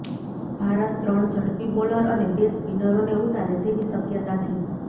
ભારત ત્રણ ઝડપી બોલર અને બે સ્પિનરોને ઉતારે તેવી શક્યતા છે